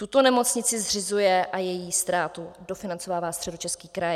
Tuto nemocnici zřizuje a její ztrátu dofinancovává Středočeský kraj.